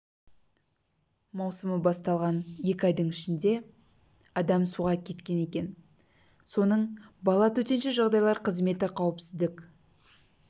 маусымы басталған екі айдың ішінде адам суға кеткен екен соның бала төтенше жағдайлар қызметі қауіпсіздік